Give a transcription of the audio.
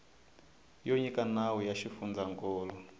yo nyika nawu ya xifundzankulu